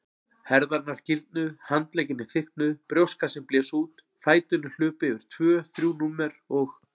Herðarnar gildnuðu, handleggirnir þykknuðu, brjóstkassinn blés út, fæturnir hlupu yfir tvö þrjú númer og.